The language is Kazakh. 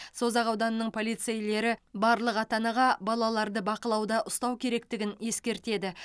созақ ауданының полицейлері барлық ата анаға балаларды бақылауда ұстау керектігін ескертеді